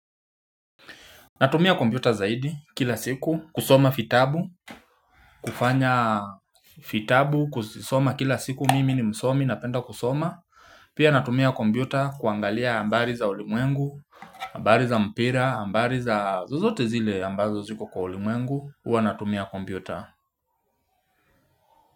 Natumia kombiuta zaidi kila siku kusoma fitabu kufanya fitabu kuzisoma kila siku mimi ni msomi napenda kusoma Pia natumia kombiuta kuangalia ambari za ulimwengu Ambari za mpira, ambari za zozote zile ambazo ziko kwa ulimwengu Uwa natumia kombiuta.